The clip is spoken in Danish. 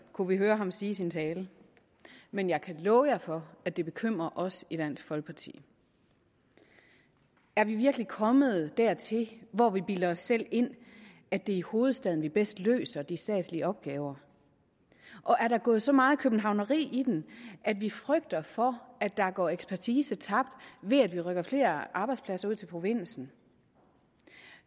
kunne vi høre ham sige i sin tale men jeg kan love for at det bekymrer os i dansk folkeparti er vi virkelig kommet dertil hvor vi bilder os selv ind at det er i hovedstaden vi bedst løser de statslige opgaver er der gået så meget københavneri i den at vi frygter for at der går ekspertise tabt ved at vi rykker flere arbejdspladser ud til provinsen